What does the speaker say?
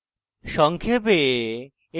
সংক্ষেপে